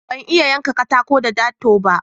Ban iya yanka katako da darto ba.